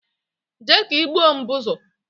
Jee ka igboo Mbụzụ